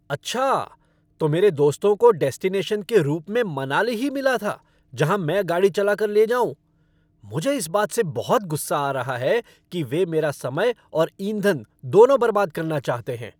अच्छा? तो मेरे दोस्तों को डेस्टिनेशन के रूप में मनाली ही मिला था जहाँ मैं गाड़ी चला कर ले जाऊँ? मुझे इस बात से बहुत गुस्सा आ रहा है कि वे मेरा समय और ईंधन दोनों बर्बाद करना चाहते हैं!